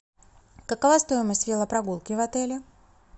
какова стоимость велопрогулки в отеле